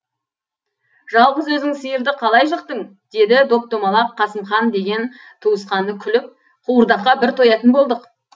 жалғыз өзің сиырды қалай жықтың дейді доп домалақ қасымхан деген туысқаны күліп қуырдаққа бір тоятын болдық